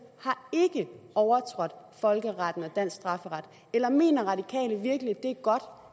har ikke overtrådt folkeretten og dansk strafferet eller mener radikale virkelig